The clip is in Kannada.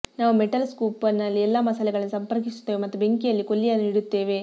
ನಾವು ಮೆಟಲ್ ಸ್ಕೂಪ್ನಲ್ಲಿ ಎಲ್ಲಾ ಮಸಾಲೆಗಳನ್ನು ಸಂಪರ್ಕಿಸುತ್ತೇವೆ ಮತ್ತು ಬೆಂಕಿಯಲ್ಲಿ ಕೊಲ್ಲಿಯನ್ನು ಇಡುತ್ತೇವೆ